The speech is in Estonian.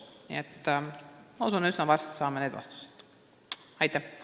Nii et ma usun, et me saame need vastused üsna varsti.